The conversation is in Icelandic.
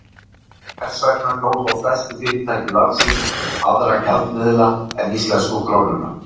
Hvers vegna kjósa stærstu fyrirtæki landsins aðra gjaldmiðla en íslensku krónuna?